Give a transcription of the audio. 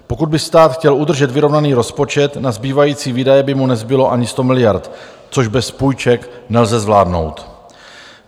Pokud by stát chtěl udržet vyrovnaný rozpočet, na zbývající výdaje by mu nezbylo ani 100 miliard, což bez půjček nelze zvládnout.